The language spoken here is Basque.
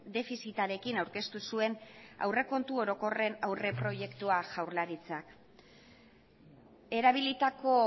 defizitarekin aurkeztu zuen aurrekontu orokorren aurreproiektua jaurlaritzak erabilitako